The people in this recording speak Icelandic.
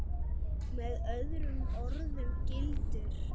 Með öðrum orðum gildir